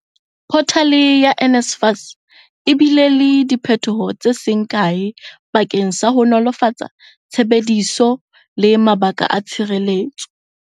Photale ya NSFAS e bile le diphethoho tse seng kae bakeng sa ho nolofatsa tshebediso le mabaka a tshireletso.